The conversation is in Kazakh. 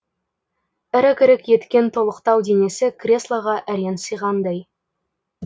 ірік ірік еткен толықтау денесі креслоға әрең сиғандай